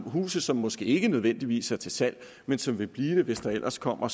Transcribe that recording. huse som måske ikke nødvendigvis er til salg men som vil blive det hvis der ellers kommer